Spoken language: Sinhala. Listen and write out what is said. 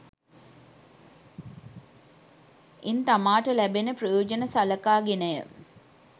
ඉන් තමාට ලැබෙන ප්‍රයොජන සලකා ගෙනය.